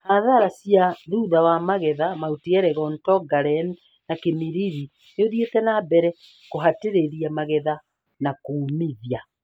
Hathara cia thutha wa magetha Mt Elgon, Tongaren na Kimilili nĩũthiĩte na mbere kũhatĩrĩria magetha na kũũmithia